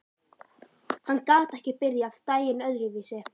Hann gat ekki byrjað daginn öðruvísi.